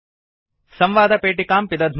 संवादपेटिकां पिदध्मः